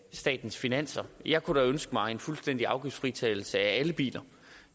statens finanser jeg kunne da ønske mig en fuldstændig afgiftsfritagelse for alle biler